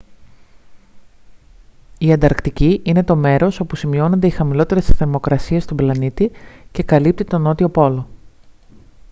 η ανταρκτική είναι το μέρος όπου σημειώνονται οι χαμηλότερες θερμοκρασίες στον πλανήτη και καλύπτει τον νότιο πόλο